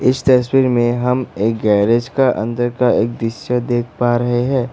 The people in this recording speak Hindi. इस तस्वीर में हम एक गैरेज का अंदर का एक दृश्य देख पा रहे हैं।